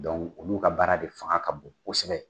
Dɔnku olu ka baara de fanga ka bon kosɛbɛ